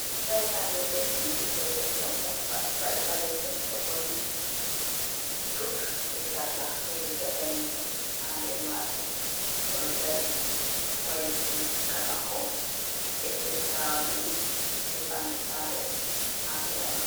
Darii ha dou leddi, diitoyi heɗo oɗo paɗɗi paɗe oɗo ɓorni sut be sarla be riga daneejum ha nadermaajum ,oɗo dari wailiti fuska mako, leddhe fulawa ɗiɗi be ɓandu saare ha sera mako.